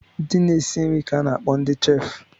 Ndị na-esi nri ka a na-akpọ ndị chef